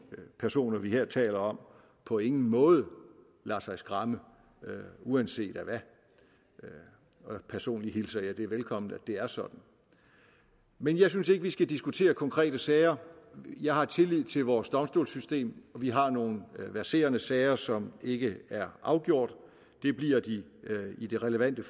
personer vi her taler om på ingen måde lader sig skræmme uanset af hvad personligt hilser jeg det velkommen at det er sådan men jeg synes ikke at vi skal diskutere konkrete sager jeg har tillid til vores domstolssystem vi har nogle verserende sager som ikke er afgjort det bliver de i de relevante